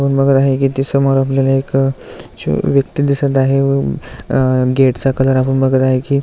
आपण बघत आहे की ती समोर आपल्याला ती एक व्यक्ति दिसत आहे व गेट चा कलर आपण बघत आहे की--